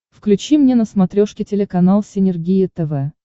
включи мне на смотрешке телеканал синергия тв